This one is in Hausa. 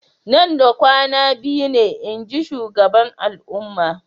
Nan da kwana biyu ne, inji shugaban al'umma.